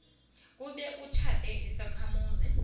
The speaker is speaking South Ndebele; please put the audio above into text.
kube utjhade isakhamuzi